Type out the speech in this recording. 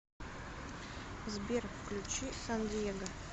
сбер включи сан диего